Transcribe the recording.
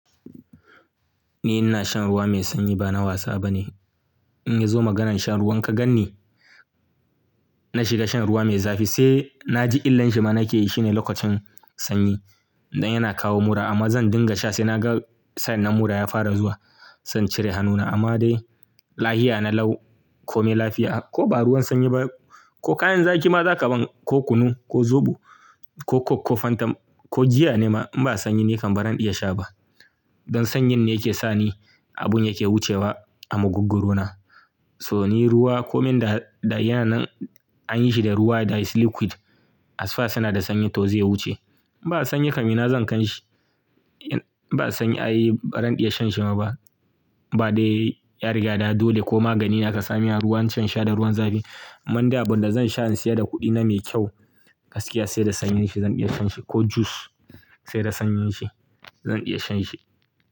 Ni ina shan ruwa mai sanyi ba na wasa bane. In ya zo maganan shan ruwan ka gan ni, na shiga shan ruwa mai zafi sai na ji illar shi ma nake yi shine lokacin sanyi. Dan yana kawo mura amma zan dinga sha sai na ga sa'an nan mura ya fara zuwa. Zan cire hannuna amma dai lahiya na lau ko me lafiya. Ko ba ruwan sanyi ba ko kayan zaki ma za ka ban ko kunu ko zobo ko coke ko fanta ko giya ne ma in ba sanyi nake ba zan iya sha ba. Dan sanyin ne yake sani abun yake wucewa a mugugguru na. So ni ruwa ko min da, da yana nan an yi shi da ruwa that is liquid as far suna da sanyi to zai wuce. In ba sanyi kam ina zan kan shi. Ba sanyi ai, ba ran iya shan shi ma ba. Ba dai ya riga da dole ko magani aka sa min sa ruwa ance in sha da ruwan zafi. Amman dai abin da zan sha in siyar da kuɗi na mai kyau gaskiya sai da sanyin shi zan iya shan shi. Ko juice sai da sanyin shi zan iya shan shi.